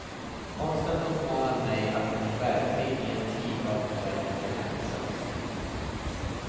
Konsten uppmanar mig att bli verklig i en tid av overkliga händelser.